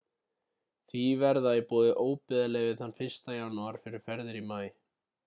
því verða í boði óbyggðaleyfi þann 1. janúar fyrir ferðir í maí